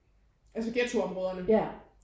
Altså ghettoområderne